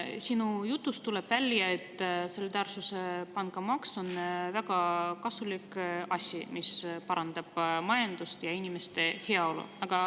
Sinu jutust tuleb välja, et solidaarne pangamaks on väga kasulik asi, mis parandab majandust ja inimeste heaolu.